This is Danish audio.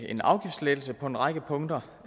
en afgiftslettelse på en række punkter